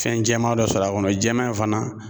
Fɛn jɛman dɔ sɔrɔ a kɔnɔ jɛman in fana